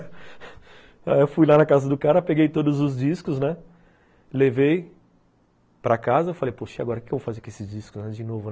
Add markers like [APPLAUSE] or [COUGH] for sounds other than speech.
[LAUGHS] Aí eu fui lá na casa do cara, peguei todos os discos, né, levei para casa, falei, poxa, agora o que eu vou fazer com esses discos de novo?